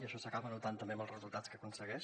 això s’acaba notant també en els resultats que aconsegueix